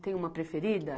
Tem uma preferida?